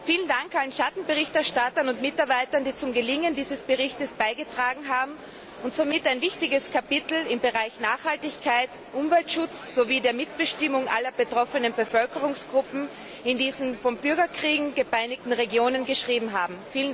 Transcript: Vielen Dank allen Schattenberichterstattern und Mitarbeitern, die zum Gelingen dieses Berichts beigetragen und somit ein wichtiges Kapitel im Bereich Nachhaltigkeit, Umweltschutz sowie der Mitbestimmung aller betroffenen Bevölkerungsgruppen in diesen von Bürgerkriegen gepeinigten Regionen geschrieben haben.